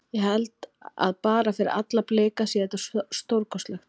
Ég held að bara fyrir alla Blika sé þetta stórkostlegt.